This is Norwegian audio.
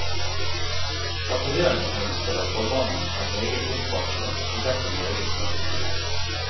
Tatoveringsmønsteret for mannen er meget omfattende, og derfor meget smertefullt.